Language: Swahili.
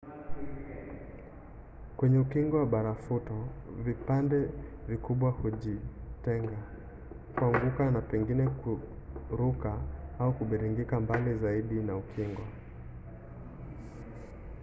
kwenye ukingo wa barafuto vipande vikubwa hujitenga kuanguka na pengine kuruka au kubingirika mbali zaidi na ukingo